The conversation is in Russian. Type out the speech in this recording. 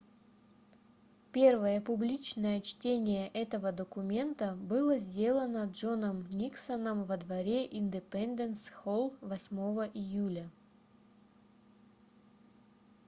первое публичное чтение этого документа было сделано джоном никсоном во дворе индепенденс-холл 8 июля